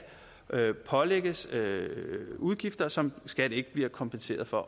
pålægges udgifter som skat ikke bliver kompenseret for